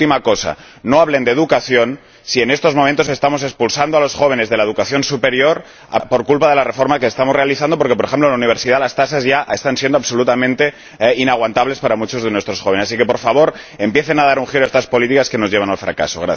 Y una última cosa no hablen de educación cuando, en estos momentos, estamos expulsando a los jóvenes de la educación superior por culpa de la reforma que estamos realizando, porque, por ejemplo, en la universidad, las tasas ya resultan absolutamente inasumibles para muchos de nuestros jóvenes. Así que, por favor, empiecen a dar un giro a estas políticas que nos llevan al fracaso.